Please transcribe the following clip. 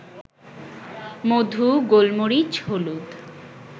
মধু, গোলমরিচ, হলুদ